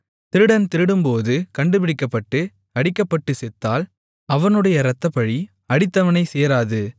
திருடன் திருடும்போது கண்டுபிடிக்கப்பட்டு அடிக்கப்பட்டுச் செத்தால் அவனுடைய இரத்தப்பழி அடித்தவனைச் சேராது